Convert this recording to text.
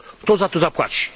Kto za to zapłaci?